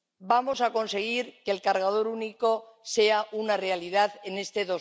Vamos a conseguir que el cargador único sea una realidad en este